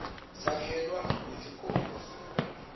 sakhelwa netikolo